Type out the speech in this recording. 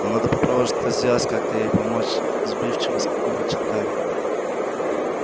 но надо попробовать что-то сделать как-то ей помочь сбивчиво начал гарри